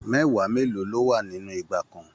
Mẹwa mélòó lọ wá nínú igba kan?